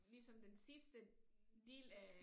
Ligesom den sidste del af